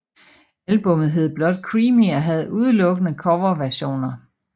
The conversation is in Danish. Albummet hed blot Creamy og havde udelukkende coverversioner